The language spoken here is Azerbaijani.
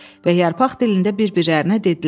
Və yarpaq dilində bir-birlərinə dedilər: